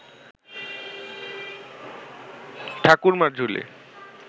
Thakurmar Jhuli